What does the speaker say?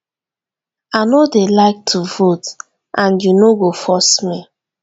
i no dey like to vote and you no go force me